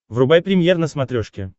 врубай премьер на смотрешке